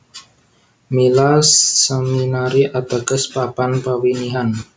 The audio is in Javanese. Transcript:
Mila Seminari ateges papan pawinihan